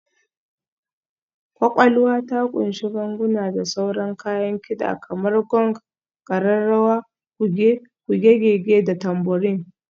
Ƙwaƙwalwa ta ƙunshi ganguna da sauran kayan kida kamar gong, ƙararrawa, kuge, kuge-gege, da tambourine.